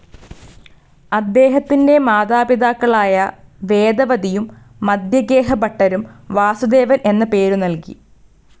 അദ്ദേഹത്തിന്റെ മാതാപിതാക്കളായ വേദവതിയും മദ്ധ്യഗേഹ ഭട്ടരും വാസുദേവൻ എന്ന പേരു നൽകി.